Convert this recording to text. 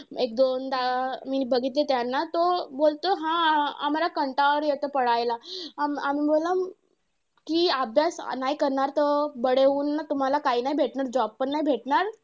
एक दोनदा मी बघितली त्यांना. तो बोलतो हा आम्हांला कंटाळा येतो ला आम्ही आम्ही बोलला कि अभ्यास नाही करणार तर, होऊन ना तुम्हांला काही नाही भेटणार. job पण नाही भेटणार.